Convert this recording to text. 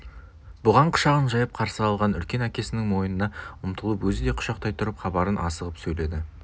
бұған құшағын жайып қарсы алған үлкен әкесінің мойнына ұмтылып өзі де құшақтай тұрып хабарын асығып сөйледі